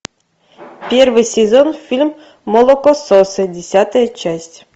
первый сезон фильм молокососы десятая часть